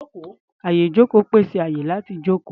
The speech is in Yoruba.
Àyè-ìjókòó pèsè àyè láti jókòó.